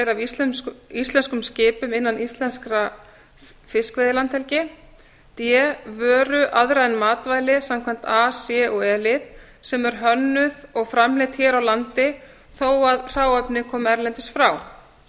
af íslenskum skipum innan íslenskrar fiskveiðilandhelgi d vöru aðra en matvæli samkvæmt a til c lið og e lið sem er hönnuð og framleidd hér á landi þó að hráefni komi erlendis frá